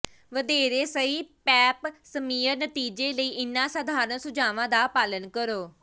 ਵਧੇਰੇ ਸਹੀ pap smear ਨਤੀਜੇ ਲਈ ਇਹਨਾਂ ਸਾਧਾਰਣ ਸੁਝਾਵਾਂ ਦਾ ਪਾਲਣ ਕਰੋ